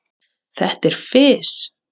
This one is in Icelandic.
Þetta er fis.